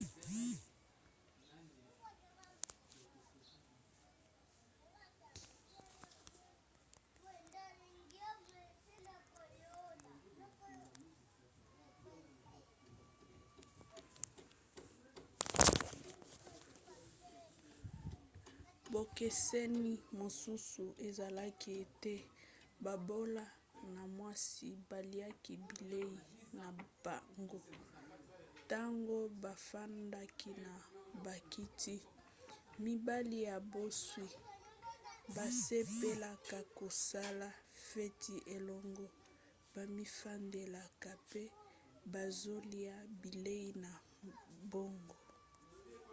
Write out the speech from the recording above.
bokeseni mosusu ezalaki ete babola na mwasi baliaki bilei na bango ntango bafandaki na bakiti mibali ya bozwi basepelaka kosala feti elongo bamifandelaka mpe bazolia bilei na bango